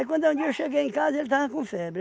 quando um dia eu cheguei em casa, ele tava com febre.